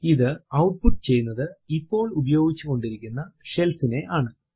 ഇത് ഔട്ട്പുട്ട് ചെയ്യുന്നത് ഇപ്പോൾ ഉപയോഗിച്ചുകൊണ്ടിരിക്കുന്ന ഷെൽ നെയാണ്